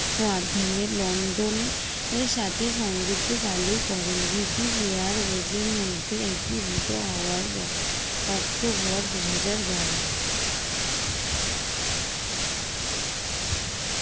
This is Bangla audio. মাধ্যমে লন্ডনের সাথে সংযুক্ত চালু করেন ব্রিটিশ air hose এর মধ্যে একীভূত হওয়ার পর অক্টোবর দুই হাজার বারো